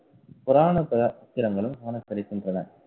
புராண பாத்திரங்களும் காணப்படுகின்றன